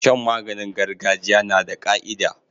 Shan maganin gargajiya nada ka'ida